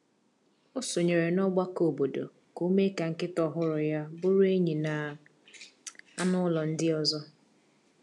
O sonyeere n’ọgbakọ obodo ka o mee ka nkịta ọhụrụ ya bụrụ enyi na anụ ụlọ ndị ọzọ.